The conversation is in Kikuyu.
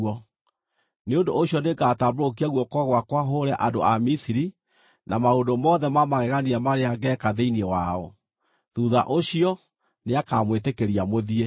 Nĩ ũndũ ũcio nĩngatambũrũkia guoko gwakwa hũũre andũ a Misiri na maũndũ mothe ma magegania marĩa ngeeka thĩinĩ wao. Thuutha ũcio, nĩakamwĩtĩkĩria mũthiĩ.